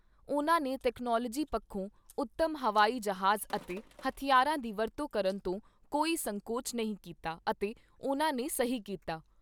ਉਨ੍ਹਾਂ ਨੇ ਤਕਨਾਲੋਜੀ ਪੱਖੋਂ ਉੱਤਮ ਹਵਾਈ ਜਹਾਜ਼ ਅਤੇ ਹਥਿਆਰਾਂ ਦੀ ਵਰਤੋਂ ਕਰਨ ਤੋਂ ਕੋਈ ਸੰਕੋਚ ਨਹੀਂ ਕੀਤਾ ਅਤੇ ਉਨ੍ਹਾਂ ਨੇ ਸਹੀ ਕੀਤਾ।